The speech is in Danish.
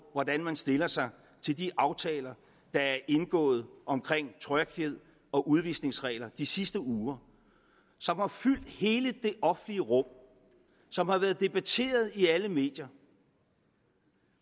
hvordan man stiller sig til de aftaler der er indgået om tryghed og udvisningsregler de sidste uger som har fyldt hele det offentlige rum og som har været debatteret i alle medier